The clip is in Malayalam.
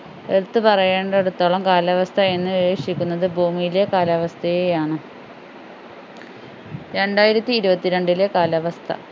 എടുത്തു പറയേണ്ടടുത്തോളം കാലാവസ്ഥ എന്നുദ്ദേശിക്കുന്നത് ഭൂമിയിലെ കാലാവസ്ഥയെയാണ് രണ്ടായിരത്തി ഇരുപത്തിരണ്ടിലെ കാലാവസ്ഥ